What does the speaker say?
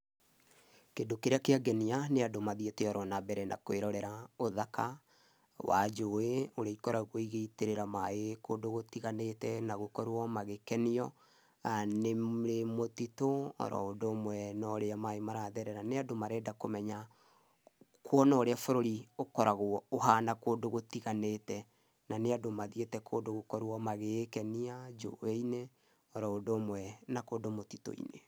Kĩndũ kĩrĩa kĩangenia nĩ andũ mathiĩte na orona mbere na kũĩrorera ũthaka wa njũĩ ũrĩa ikoragũo igĩitĩrĩra maĩ kũndũ gũtiganĩte, na gũkorũo magĩkenio nĩ mũtitũ o na ũndũ ũmwe ũrĩa maĩ maratherera. Nĩ andũ marenda kũmenya kũona ũrĩa bũrũri ũkoragũo ũhana kũndũ gũtiganĩte, na nĩ andũ mathiĩte kũndũ gũkorũo magĩkenia njũĩ-ini oroũndũ ũmwe na kũndũ mũtitũ-inĩ.